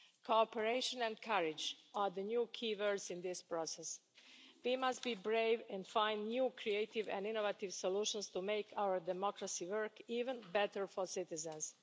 Cooperation and courage are the new keywords in this process. We must be brave and find new creative and innovative solutions to make our democracy work even better for citizens.